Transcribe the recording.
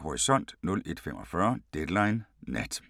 Horisont 01:45: Deadline Nat